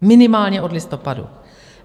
Minimálně od listopadu.